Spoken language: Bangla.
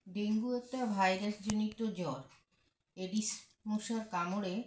dengue একটা virus জনিত জ্বর Aedes মশার কামড়ে